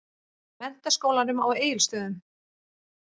Menntaskólanum á Egilsstöðum.